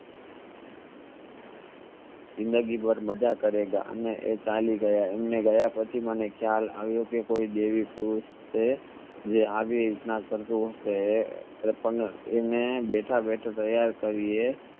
જિંદગી ભર મજા કરેગા અને એ ચાલી ગયા અમને ગયા પછી મને ખ્યાલ આવ્યો કે કોઈ દેવી પુરુષ છે જે આગે ઇત્ન અને બેઠા બેઠા તૈયાર કર્યે